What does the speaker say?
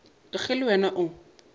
ka ge le wena o